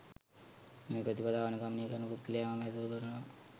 මේ ප්‍රතිපදාව අනුගමනය කරන පුද්ගලයා මම ඇසුරු කරනවා.